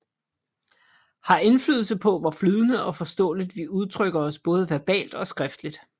Har indflydelse på hvor flydende og forståeligt vi udtrykker os både verbalt og skriftligt